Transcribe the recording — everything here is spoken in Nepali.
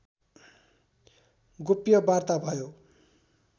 गोप्य वार्ता भयो